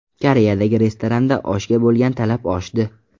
Koreyadagi restoranda oshga bo‘lgan talab oshdi.